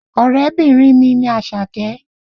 Ọ̀rẹ́bìnrin mi ni Àṣàkẹ́